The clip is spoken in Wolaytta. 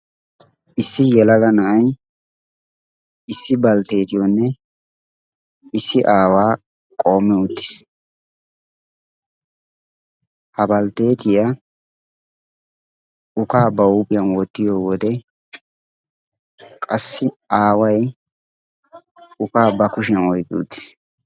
issi yelaga na7ai issi baltteetiyoonne issi aawaa qoommi uttiis. ha baltteetiyaa ukaa ba huuphiyan woottiyo wode qassi aawai ukaa ba kushiyan oiqqi uttiis